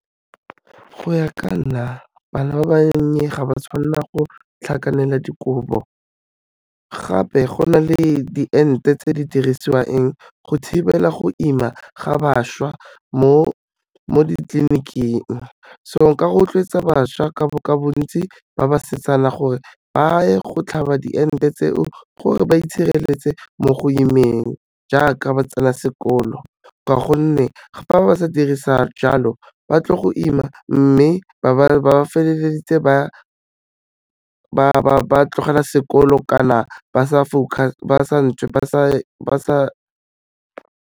Go ya ka nna bana ba bannye ga ba tshwanela go tlhakanela dikobo, gape go na le diente tse di dirisiwang go thibela go ima ga bašwa mo ditliliniking. So nka rotloetsa bašwa ka bontsi ba basetsana gore baye go tlhaba diente tseo, gore ba itshireletse mo go imeng jaaka ba tsena sekolo, ka gonne fa ba sa dire jalo ba tlo go ima, mme ba ba feleleditse ba tlogela sekolo kana ba sa .